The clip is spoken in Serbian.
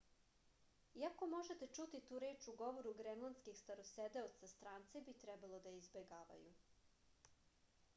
iako možete čuti tu reč u govoru grenlandskih starosedeoca stranci bi trebalo da je izbegavaju